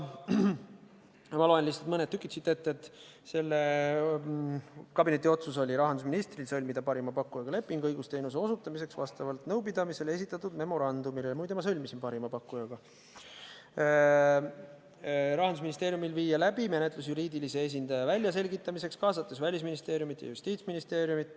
Ma loen lihtsalt siit natuke ette, mis selle kabineti otsus oli: rahandusministril sõlmida parima pakkujaga leping õigusteenuse osutamiseks vastavalt nõupidamisel esitatud memorandumile – muide, ma sõlmisin lepingu parima pakkujaga –, Rahandusministeeriumil viia läbi menetlus juriidilise esindaja väljaselgitamiseks, kaasates Välisministeeriumit ja Justiitsministeeriumit.